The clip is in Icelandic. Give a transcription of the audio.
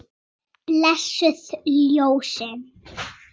Blessuð ljósin.